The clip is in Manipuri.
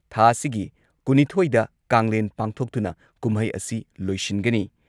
ꯊꯥ ꯑꯁꯤꯒꯤ ꯀꯨꯟꯅꯤꯊꯣꯏꯗ ꯀꯥꯡꯂꯦꯟ ꯄꯥꯡꯊꯣꯛꯇꯨꯅ ꯀꯨꯝꯍꯩ ꯑꯁꯤ ꯂꯣꯏꯁꯤꯟꯒꯅꯤ